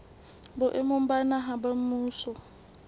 boemong ba naha ba mmuso